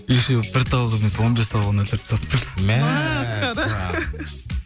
еще бір тауық емес он бес тауығын өлтіріп тастаппын